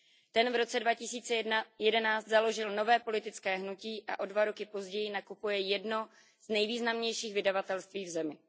Ten v roce 2011 založil nové politické hnutí a o dva roky později nakupuje jedno z nejvýznamnějších vydavatelství v zemi.